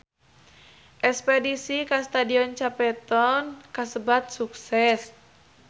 Espedisi ka Stadion Cape Town kasebat sukses